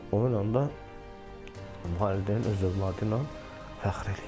Onunla da valideyn öz övladı ilə fəxr eləyir.